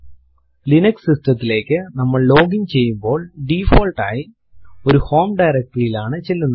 Linux system തിലേക്കു നമ്മൾ login ചെയ്യുമ്പോൾ ഡിഫോൾട്ട് ആയി ഒരു ഹോം directory യിൽ ആണ് ചെല്ലുന്നത്